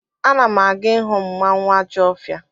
Ana m aga ịhụ mmanwụ Ajọfia.